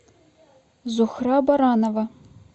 зухра баранова